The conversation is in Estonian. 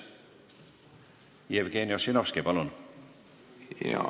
Jevgeni Ossinovski, palun!